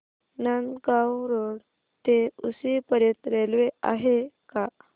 Nandgaon road ते उक्षी पर्यंत railway आहे का